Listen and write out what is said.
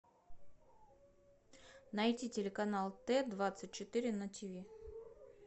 найди телеканал т двадцать четыре на тв